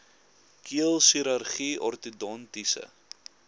keel chirurgie ortodontiese